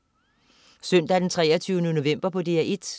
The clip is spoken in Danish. Søndag den 23. november - DR1: